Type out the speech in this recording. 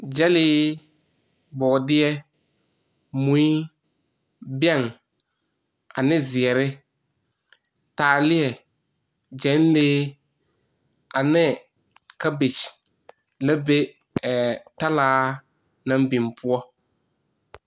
Gyɛllee, bɔɔdeɛ, mui, bɛŋ ane zeɛrre taaliɛ, gyɛŋlee ane cabbage la be ɛɛ talaa naŋ biŋ poɔ.